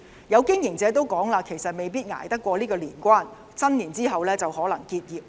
有經營者表示，可能捱不過年關，新年後可能結業。